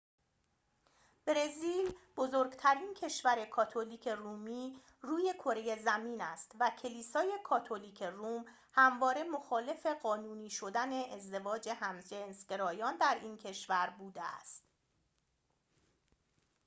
برزیل بزرگترین کشور کاتولیک رومی روی کره زمین است و کلیسای کاتولیک روم همواره مخالف قانونی شدن ازدواج همجنسگرایان در این کشور بوده است